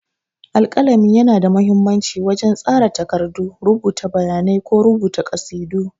Alƙalami yana da mahimmanci wajen tsara takardu, rubuta bayanai ko rubuta ƙasidu.